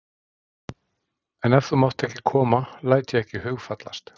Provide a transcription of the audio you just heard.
En ef þú mátt ekki koma læt ég ekki hugfallast.